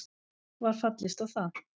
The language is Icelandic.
Var fallist á það